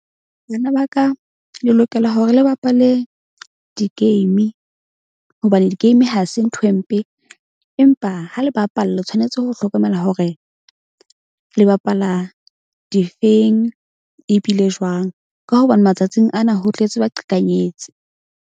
Bana ba ka le lokela hore le bapale di-game hobane di-game ha se nthwe mpe. Empa ha le bapala le tshwanetse ho hlokomela hore le bapala difeng e bile jwang, ka hobane matsatsing ana ho tletse baqhekanyetsi.